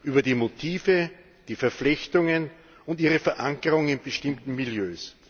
über die Motive, die Verflechtungen und ihre Verankerung in bestimmten Milieus.